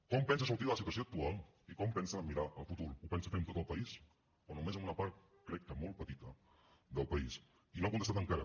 com pensa sortir de la situació actual i com pensa mirar al futur ho pensa fer amb tot el país o només amb una part crec que molt petita del país i no ha contestat encara